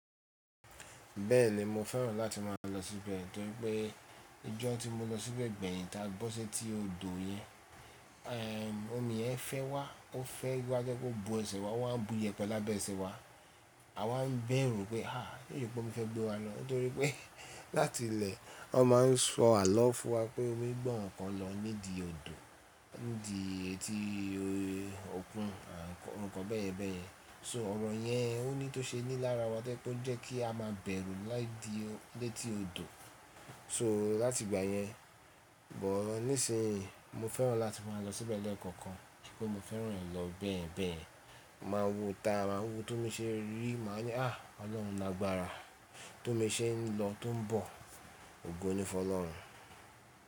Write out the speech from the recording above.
Bẹ́ẹ̀ni mo fẹ́ràn láti máa lọ síbẹ̀ torí pé ijọ́ tí mo lọ síbẹ̀ gbẹ̀yìn ta bọ́ setí odò yẹn, ẹ́ omi yẹn fẹ́ wa, ó fẹ́ wa to jẹ́ pe ó bu ẹsẹ̀ wa o wá ń bu iyẹpẹ lábẹ́ ẹsẹ̀ wa. A wáa ń bẹ̀rù pé, se sepe ómi fẹ́ gbé wa lọ torí pé láti ilẹ̀ wọ́n máa ń sọ àló fún wa pé omi gbe awon kan lọ nídi odò, nídi etí awon nkań bẹ́ yen bẹ́ yẹn. So ọ̀rọ̀ yẹn ó ní tó ṣe ní lára wa to jẹ́ pe o je kí a máa bẹ̀rù láídí létí odò so láti ìgbà yẹn. Nísinyìí mo fẹ́ràn láti máa lọ síbẹ̀ lẹ́ẹ̀kọ̀kan kí se pe mo fẹ́ràn e lọ bẹ́yẹ̀n bẹ́yẹ̀n Máa wo ita, máa wo tómi ṣe rí, màá ni háà Ọlọ́run lágbára tó mi ṣe ń lọ tó ń bọ̀. Ogo ni fún Ọlọ́run.